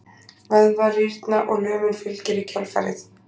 Vöðvar rýrna og lömun fylgir í kjölfarið.